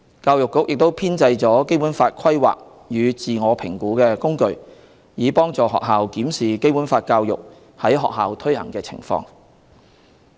教育局亦編製了《基本法》規劃與自我評估工具，以幫助學校檢視《基本法》教育在學校推行的情況。